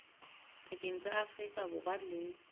pakeng tsa afrika borwa le